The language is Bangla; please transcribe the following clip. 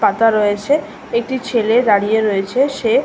পাতা রয়েছে একটি ছেলে দাঁড়িয়ে রয়েছে সে--